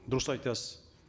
дұрыс айтасыз